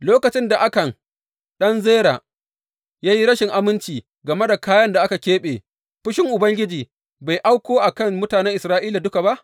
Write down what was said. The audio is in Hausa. Lokacin da Akan ɗan Zera ya yi rashin aminci game da kayan da aka keɓe, fushinsa Ubangiji bai auko a kan mutanen Isra’ila duka ba?